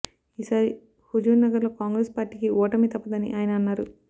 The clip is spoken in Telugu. ఈ సారి హుజూర్ నగర్ లో కాంగ్రెస్ పార్టీకి ఓటమి తప్పదని అయన అన్నారు